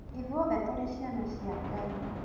Ithuothe tũrĩ ciana cia Ngai.